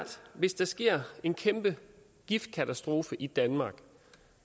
hvis der sker en kæmpe giftkatastrofe i danmark